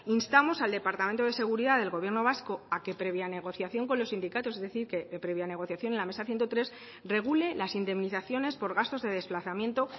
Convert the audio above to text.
instamos al departamento de seguridad del gobierno vasco a que previa negociación con los sindicatos es decir que previa negociación en la mesa ciento tres regule las indemnizaciones por gastos de desplazamiento